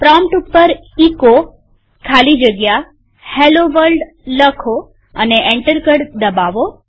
prompt ઉપર એચો ખાલી જગ્યા હેલ્લો વર્લ્ડ લખો અને એન્ટર કળ દબાવો